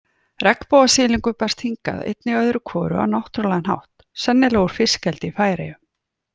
Regnbogasilungur berst hingað einnig öðru hvoru á náttúrulegan hátt, sennilega úr fiskeldi í Færeyjum.